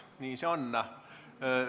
Nii see on.